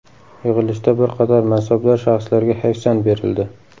Yig‘ilishda bir qator mansabdor shaxslarga hayfsan berildi .